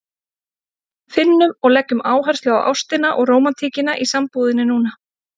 Finnum og leggjum áherslu á ástina og rómantíkina í sambúðinni núna!